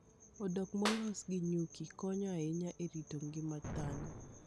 Odok molos gi nyuki konyo ahinya e rito ngima dhano.